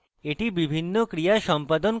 এটি বিভিন্ন ক্রিয়া সম্পাদন করতে পারে